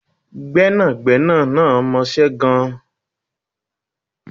Gbẹ́nàgbẹ́nà náà mọṣe gan